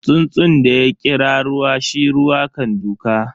Tsuntsun da ya kira ruwa, shi ruwa kan duka.